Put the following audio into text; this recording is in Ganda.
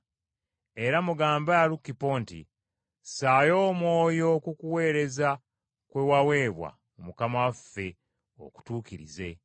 Era mugambe Alukipo nti, “Ssaayo omwoyo ku kuweereza kwe waweebwa mu Mukama waffe, okutuukirize.”